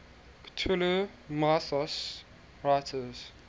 cthulhu mythos writers